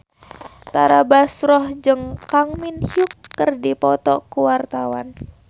Tara Basro jeung Kang Min Hyuk keur dipoto ku wartawan